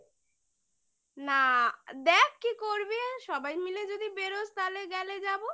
না দেখ কি করবি সবাই মিলে যদি বেড়োস তাহলে গেলে যাবো